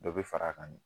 Dɔ bɛ far'a kan de